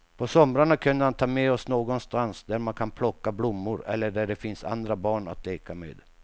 På somrarna kunde han ta med oss någonstans där man kan plocka blommor eller där det finns andra barn att leka med.